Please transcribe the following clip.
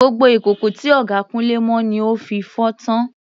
Gbogbo ìkòkò tí ọ̀gá Kunle mọ ni ó fi fọ́ tán.